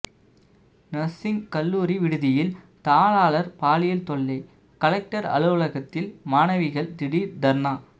nursing கல்லூரி விடுதியில் தாளாளர் பாலியல் தொல்லை கலெக்டர் அலுவலகத்தில் மாணவிகள் திடீர் தர்ணா